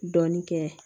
Dɔɔnin kɛ